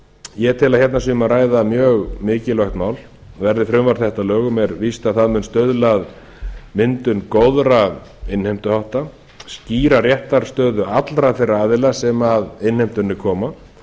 ég tel að hérna sé um að ræða mjög mikilvægt mál verði frumvarp þetta að lögum er víst að það mun stuðla að myndun góðra innheimtuhátta skýra réttarstöðu allra þeirra aðila sem að innheimtunni koma